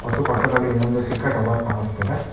ಮತ್ತು ಪಕ್ಕದಲಿ ಇನ್ನೊಂದು ಚಿಕ್ಕ ಟವರ್ ಕಾಣಿಸುತಿದೆ.